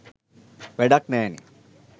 වැඩක් නෑනෙ.